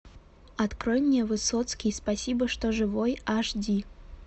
открой мне высоцкий спасибо что живой аш ди